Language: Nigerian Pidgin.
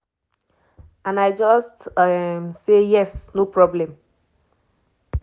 and i just um say 'yes no problem'.